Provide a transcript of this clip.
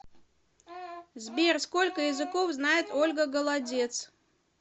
сбер сколько языков знает ольга голодец